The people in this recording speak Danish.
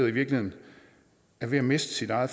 i virkeligheden er ved at miste sit eget